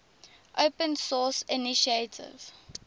open source initiative